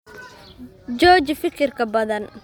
Jooji fikirka badan